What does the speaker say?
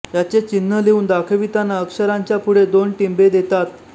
याचे चिन्ह लिहून दाखविताना अक्षराच्या पुढे दोन टिंबे देतात